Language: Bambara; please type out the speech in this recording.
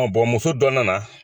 muso dɔ nana